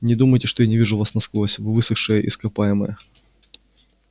не думайте что я не вижу вас насквозь вы высохшее ископаемое